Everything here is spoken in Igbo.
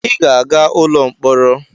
I ga-aga ụlọ mkpọrọ!